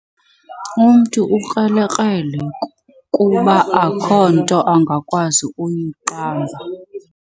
Umntu ukrelekrele kuba akukho nto angakwazi kuyiqamba.